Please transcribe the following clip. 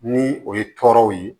Ni o ye tɔɔrɔw ye